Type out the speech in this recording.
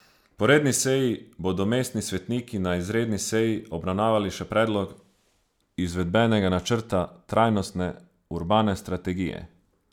Po redni seji bodo mestni svetniki na izredni seji obravnavali še predlog izvedbenega načrta trajnostne urbane strategije.